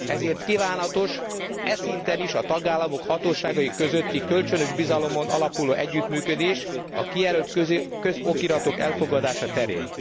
Ezért kívánatos e szinten is a tagállamok hatóságai közötti kölcsönös bizalmon alapuló együttműködés a kijelölt közokiratok elfogadása terén.